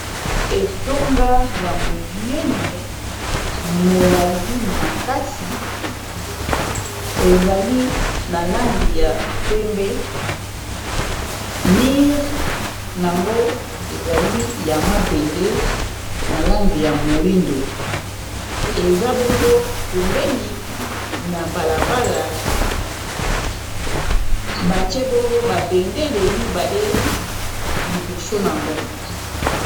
Etonga ya monene molai makasi ezali na lange ya pembe mire nango ezali ya mabende na lange ya moindo eza bongo pembeni na balabala batie bongo babendele mibale liboso nango